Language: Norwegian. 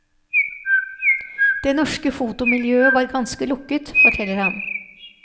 Det norske fotomiljøet var ganske lukket, forteller han.